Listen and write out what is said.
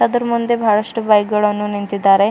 ಅದರ ಮುಂದೆ ಬಹಳಷ್ಟು ಬೈಕ್ ಗಳನ್ನು ನಿಂತಿದ್ದಾರೆ.